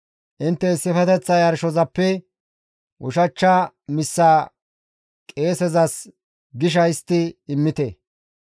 Intte issifeteththa yarshozappe ushachcha missaa qeesezas gisha histti immite;